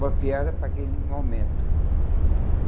Boa piada para aquele momento.